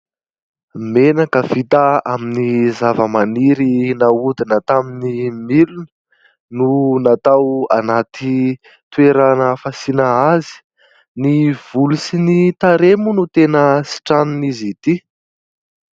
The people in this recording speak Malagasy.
Menaka vita amin'ny zavamaniry nahodina tamin'ny milina no natao anaty toerana fasiana azy. Ny volo sy ny tarehy moa no tena sitranin'izy ity.